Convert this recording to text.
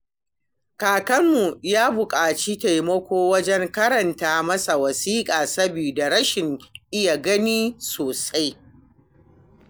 Kakanmu yana buƙatar taimako wajen karanta masa wasiƙu saboda rashin iya gani sosai.